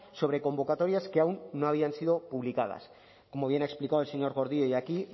sobre convocatorias que aún no habían sido publicadas como bien ha explicado el señor gordillo hoy aquí